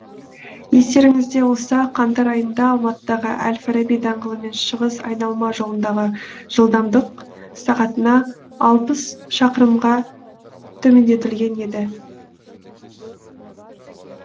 естеріңізде болса қаңтар айында алматыдағы әл фараби даңғылы мен шығыс айналма жолындағы жылдамдық сағатына алпыс шақырымға төмендетілген еді